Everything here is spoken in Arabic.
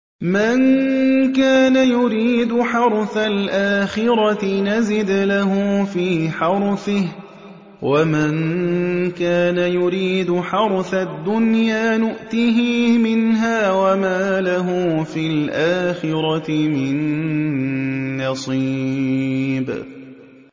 مَن كَانَ يُرِيدُ حَرْثَ الْآخِرَةِ نَزِدْ لَهُ فِي حَرْثِهِ ۖ وَمَن كَانَ يُرِيدُ حَرْثَ الدُّنْيَا نُؤْتِهِ مِنْهَا وَمَا لَهُ فِي الْآخِرَةِ مِن نَّصِيبٍ